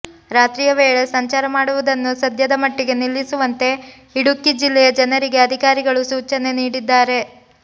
ರಾತ್ರಿ ವೇಳೆ ಸಂಚಾರ ಮಾಡುವುದನ್ನು ಸದ್ಯದ ಮಟ್ಟಿಗೆ ನಿಲ್ಲಿಸುವಂತೆ ಇಡುಕ್ಕಿ ಜಿಲ್ಲೆಯ ಜನರಿಗೆ ಅಧಿಕಾರಿಗಳು ಸೂಚನೆ ನೀಡಿದ್ದಾರೆ